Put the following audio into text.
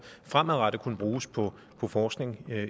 fremadrettet kunne bruges på forskning